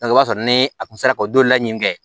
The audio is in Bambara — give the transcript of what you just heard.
o b'a sɔrɔ ni a tun sera ka o don laɲini kɛ